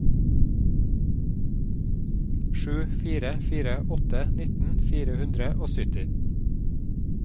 sju fire fire åtte nitten fire hundre og sytti